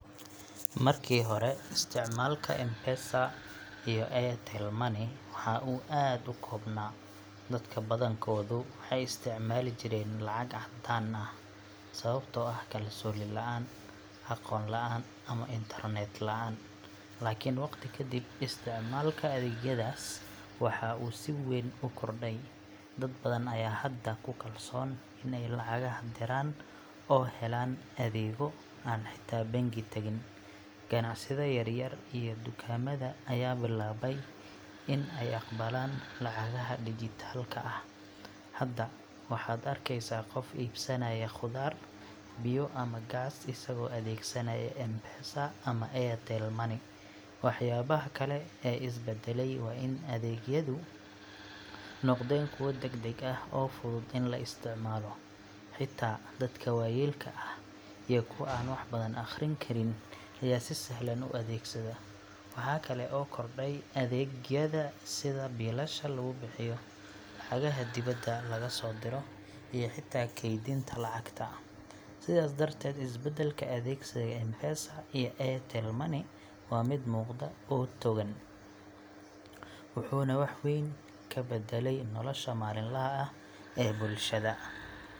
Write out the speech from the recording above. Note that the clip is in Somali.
Markii hore, isticmaalka M-Pesa iyo Airtel Money waxa uu aad u koobnaa, dadka badankoodu waxay isticmaali jireen lacag caddaan ah, sababtoo ah kalsooni la’aan, aqoon la’aan ama internet la’aan. Laakiin waqti ka dib, isticmaalka adeegyadaas waxa uu si weyn u kordhay. Dad badan ayaa hadda ku kalsoon in ay lacagaha diraan oo helaan adigoo aan xitaa bangi tagin. Ganacsiyada yar-yar iyo dukaamada ayaa bilaabay in ay aqbalaan lacagaha digital ka ah. Hadda waxaad arkeysaa qof iibsanaya khudaar, biyo ama gaas isagoo adeegsanaya M-Pesa ama Airtel Money. Waxyaabaha kale ee is beddelay waa in adeegyadu noqdeen kuwo degdeg ah oo fudud in la isticmaalo, xitaa dadka waayeelka ah iyo kuwa aan wax badan akhrin karin ayaa si sahlan u adeegsada. Waxa kale oo kordhay adeegyada sida biilasha lagu bixiyo, lacagaha dibadda laga soo diro, iyo xitaa kaydinta lacagta. Sidaas darteed, isbeddelka adeegsiga M-Pesa iyo Airtel Money waa mid muuqda oo togan, wuxuuna wax weyn ka beddelay nolosha maalinlaha ah ee bulshada.